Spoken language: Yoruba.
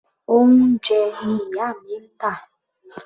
Oúnjẹ ni ìyá mi ń tà.